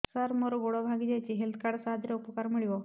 ସାର ମୋର ଗୋଡ଼ ଭାଙ୍ଗି ଯାଇଛି ହେଲ୍ଥ କାର୍ଡ ସାହାଯ୍ୟରେ ଉପକାର ମିଳିବ